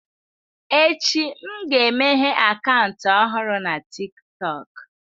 Echi, m ga-emeghe akaụntụ ọhụrụ na TikTọk.